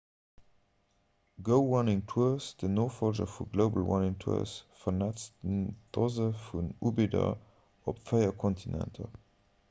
go running tours den nofollger vu global running tours vernetzt doze vun ubidder op véier kontinenter